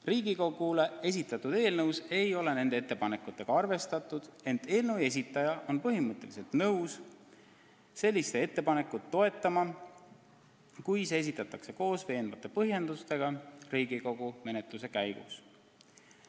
Riigikogule esitatud eelnõus ei ole nende ettepanekutega arvestatud, ent eelnõu esitaja on põhimõtteliselt nõus seda mõtet toetama, kui ettepanek esitatakse koos veenvate põhjendustega Riigikogu menetluse käigus.